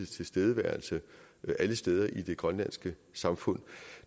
til stede alle steder i det grønlandske samfund